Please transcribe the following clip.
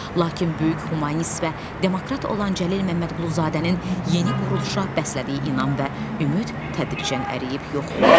Lakin böyük humanist və demokrat olan Cəlil Məmmədquluzadənin yeni quruluşa bəslədiyi inam və ümid tədricən əriyib yox olur.